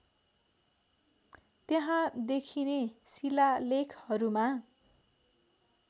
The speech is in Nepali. त्यहाँ देखिने शिलालेखहरूमा